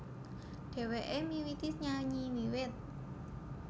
Dhèwèké miwiti nyanyi wiwit